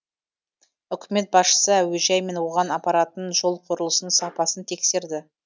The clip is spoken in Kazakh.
үкімет басшысы әуежай мен оған апаратын жол құрылысының сапасын тексерді